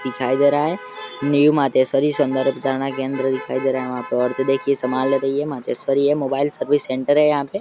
दिखाई दे रहा है। न्यू मातेश्वरी सौंदर्य प्रतारणा केंद्र दिखाई दे रहा है। वहाँ पे औरतें देखिये समान ले रही हैं। मातेश्वरी है मोबाइल सर्विस सेंटर है यहाँ पे।